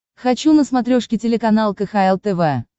хочу на смотрешке телеканал кхл тв